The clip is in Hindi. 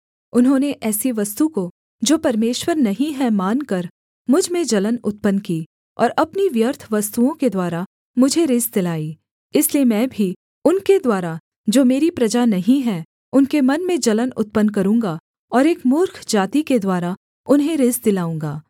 उन्होंने ऐसी वस्तु को जो परमेश्वर नहीं है मानकर मुझ में जलन उत्पन्न की और अपनी व्यर्थ वस्तुओं के द्वारा मुझे रिस दिलाई इसलिए मैं भी उनके द्वारा जो मेरी प्रजा नहीं हैं उनके मन में जलन उत्पन्न करूँगा और एक मूर्ख जाति के द्वारा उन्हें रिस दिलाऊँगा